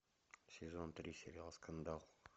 сезон три сериал скандал